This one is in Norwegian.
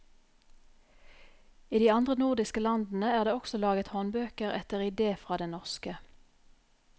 I de andre nordiske landene er det også laget håndbøker etter ide fra den norske.